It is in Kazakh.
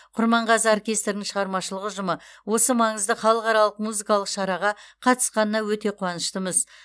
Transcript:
құрманғазы оркестрінің шығармашылық ұжымы осы маңызды халықаралық музыкалық шараға қатысқанына өте қуаныштымыз